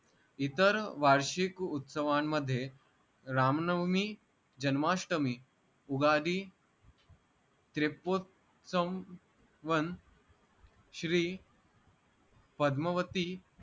इतर वार्षिक उत्सवांमध्ये राम नवमी, जन्माष्टमी, उगादी श्री पद्मावती